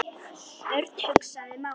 Örn hugsaði málið.